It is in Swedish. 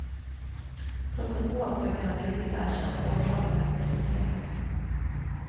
Trots att två av pojkarna delvis erkänt har åklagaren lagt ner utredningen.